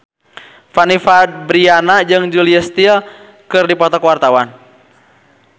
Fanny Fabriana jeung Julia Stiles keur dipoto ku wartawan